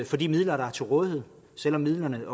for de midler der er til rådighed selv om midlerne